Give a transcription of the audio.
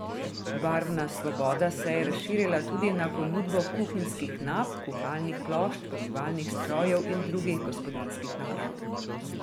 Barvna svoboda se je razširila tudi na ponudbo kuhinjskih nap, kuhalnih plošč, pomivalnih strojev in drugih gospodinjskih naprav.